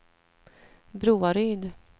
Broaryd